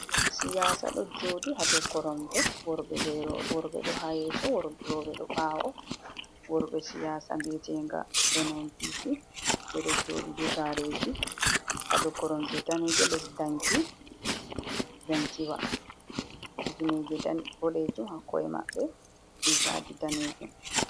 Himɓe siyasa ɗo joɗi ha dou koromje. Worɓe ɗo ha yeso, roɓe do ɓawo. Worɓe siyasa biye'tenga NNPP ɓedo joɗi be gareji ha dou koromje daneje les danki. Kifneje boɗejum ha ko’e maɓɓe rigaji danejum.